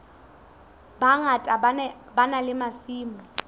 bangata ba na le masimo